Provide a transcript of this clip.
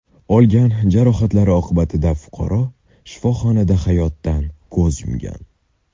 Olgan jarohatlari oqibatida fuqaro shifoxonada hayotdan ko‘z yumgan.